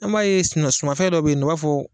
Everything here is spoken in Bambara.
An b'a ye sumafɛn dɔ bɛ yen an b'a fɔ